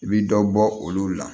I bi dɔ bɔ olu la